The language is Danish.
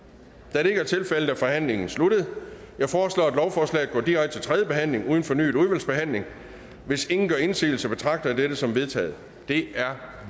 da det ikke er tilfældet er forhandlingen sluttet jeg foreslår at lovforslaget går direkte til tredje behandling uden fornyet udvalgsbehandling hvis ingen gør indsigelse betragter jeg dette som vedtaget det er